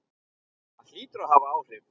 Það hlýtur að hafa áhrif.